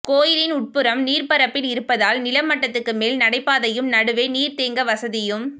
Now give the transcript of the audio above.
கோயிலின் உட்புறம் நீர்ப்பரப்பில் இருப்பதால் நில மட்டத்துக்கு மேல் நடைபாதையும் நடுவே நீர் தேங்க வசதியும்